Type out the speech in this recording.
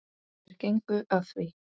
Þeir gengu að því.